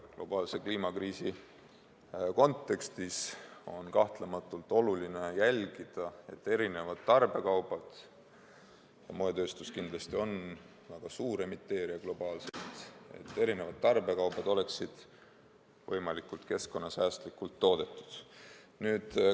Globaalse kliimakriisi kontekstis on kahtlematult oluline jälgida, et erinevad tarbekaubad – moetööstus kindlasti on globaalselt väga suur emiteerija – oleksid võimalikult keskkonnasäästlikult toodetud.